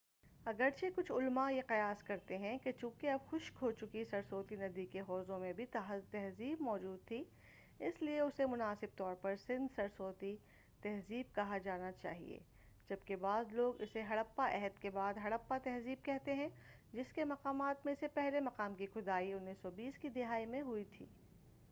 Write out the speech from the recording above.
اگرچہ کچھ علماء یہ قیاس کرتے ہیں کہ چونکہ اب خشک ہوچکی سرسوتی ندی کے حوضوں میں بھی تہذیب موجود تھی اس لیے اسے مناسب طور پر سندھ-سرسوتی تہذیب کہا جانا چاہئے جب کہ بعض لوگ اسے ہڑپا عہد کے بعد ہڑپا تہذیب کہتے ہیں جس کے مقامات میں سے پہلے مقام کی کھدائی 1920 کی دہائی میں ہوئی تھی